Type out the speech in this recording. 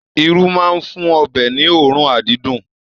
Irú máa n fún ọbẹ ní oorun adídun.